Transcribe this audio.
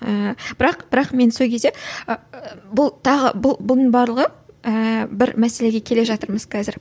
ы бірақ бірақ мен сол кезде ы бұл тағы бұл бұның барлығы ііі бір мәселеге келе жатырмыз қазір